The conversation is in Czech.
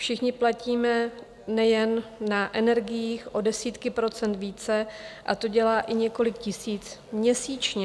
Všichni platíme nejen na energiích o desítky procent více a to dělá i několik tisíc měsíčně.